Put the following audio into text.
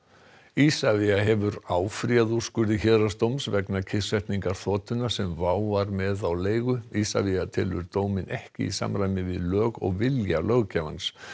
Isavia hefur áfrýjað úrskurði héraðsdóms vegna kyrrsetningar þotunnar sem WOW var með á leigu Isavia telur dóminn ekki í samræmi við lög og vilja löggjafans